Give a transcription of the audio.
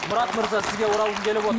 мұрат мырза сізге оралғым келіп